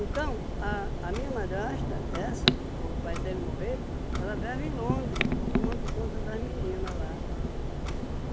Então, a a minha madrasta, essa que ficou com o pai até ele morrer, ela vive em Londres, tomando conta das meninas lá.